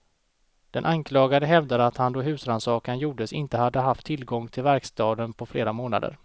Den anklagade hävdar att han då husrannsakan gjordes inte hade haft tillgång till verkstaden på flera månader.